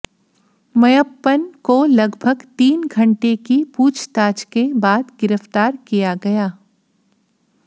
मय्यप्पन को लगभग तीन घंटे की पूछताछ के बाद गिरफ्तार किया गया